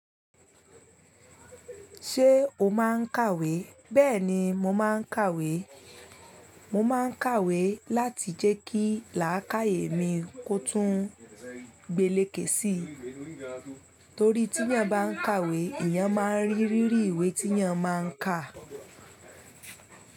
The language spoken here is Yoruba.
Ṣé o máa ń kàwé? Bẹ́ẹ̀ni, mo máa ń kàwé. Mo máa ń kàwé láti jẹ́ kí làákàyè mi kó tún gbele ké sí i, torí tí ẹ́eyan bá ń kàwé, ìyẹn máa ń rí rírì ìwé tí ẹ́eyan máa ń kà.